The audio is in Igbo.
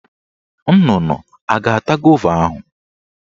Nnụnụ a ga-ata gova ahụ?